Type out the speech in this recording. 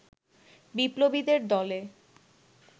বিপ্লবীদের দলে